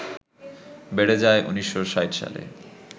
বেড়ে যায় ১৯৬০ সালে